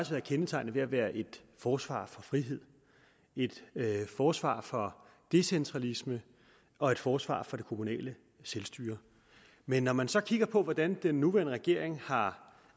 været kendetegnet ved at være et forsvar for frihed et forsvar for decentralisme og et forsvar for det kommunale selvstyre men når man så kigger på hvordan den nuværende regering har